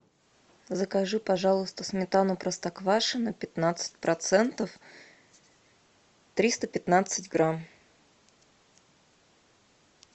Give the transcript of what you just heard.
закажи пожалуйста сметану простоквашино пятнадцать процентов триста пятнадцать грамм